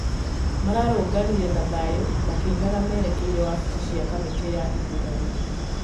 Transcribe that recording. Mararũrũnganire na thayũ makĩinaga merekeire wabici cĩa kamĩtĩ ya ithũrano